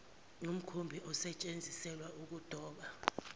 ngumkhumbi osetsheziselwa ukudoba